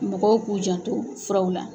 Mɔgɔw k'u janto furaw la.